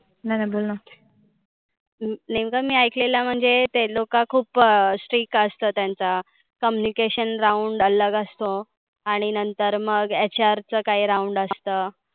नाय नाय बोल ना. नेमकं, मी ऐकलेलं म्हणजे ते लोक खुप strict असतं. त्यांचा communication round अलग असतो आणि नंतर मग HR च काही round असतं.